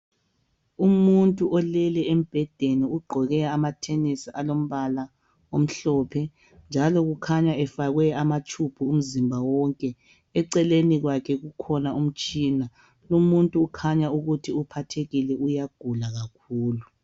Umuntu olele embhedeni ugqoke athenisi alombala omhlophe njalo kukhanya efakwe amatshubhu umzimba wonke eceleni kwakhe kukhona umtshina lumuntu kukhanya ukuthi uphathekile uyagula kakhulu